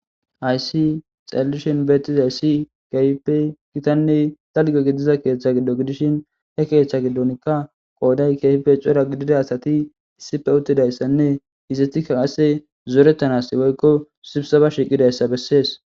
aysi xalalishin betiza ayssi gaype gitanne dalge gidiza keeththa giddo gidishin he keeththa gidonkka qooday keefife cora gidida asati issife uttidayssanne hizetikka qasse zoorettanasi woykko subsaba shiqidayssa bessees